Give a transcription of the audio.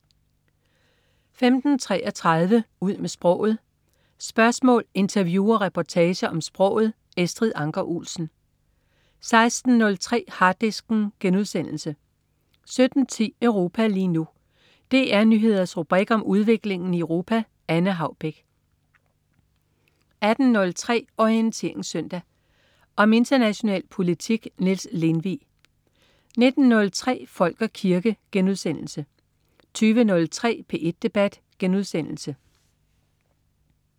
15.33 Ud med sproget. Spørgsmål, interview og reportager om sproget. Estrid Anker Olsen 16.03 Harddisken* 17.10 Europa lige nu. DR Nyheders rubrik om udviklingen i Europa. Anne Haubek 18.03 Orientering Søndag. Om international politik. Niels Lindvig 19.03 Folk og kirke* 20.03 P1 Debat*